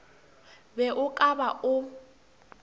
be o ka ba o